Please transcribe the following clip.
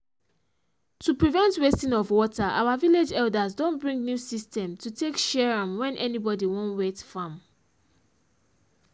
to prevent wasting of water our village elders don bring new system to take share am when anybody wan wet farm